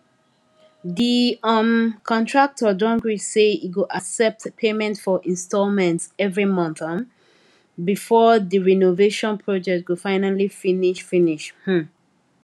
the um contractor don gree say e go accept payment for installments every month um before the renovation project go finally finish finish um